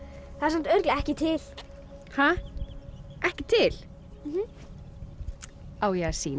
það er samt örugglega ekki til ha ekki til á ég að sýna